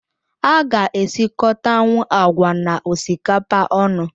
A ga-esikotanwu agwa na osikapa onu